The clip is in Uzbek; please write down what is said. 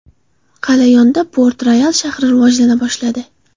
Qal’a yonida Port Royal shahri rivojlana boshladi.